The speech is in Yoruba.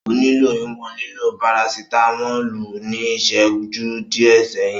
O nilo iwọn lilo parasitamolu ni iṣẹju diẹ sẹhin.